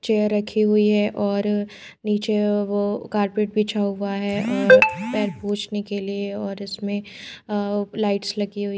chair रखी हुई है और नीचे वो कार्पेट बिछा हुआ है और पैर पोछने के लिए और इसमे अ लाइट्स लगी हुई--